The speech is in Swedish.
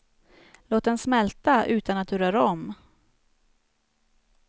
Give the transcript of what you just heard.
Låt den smälta utan att du rör om.